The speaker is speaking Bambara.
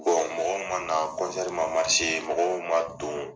Bɔn mɔgɔw ma nan kɔnsɛri ma marise mɔgɔw ma don